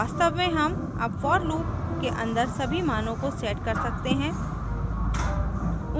वास्तव में हम अब for loop के अन्दर सभी मानों को set कर सकते हैं